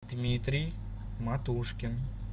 дмитрий матушкин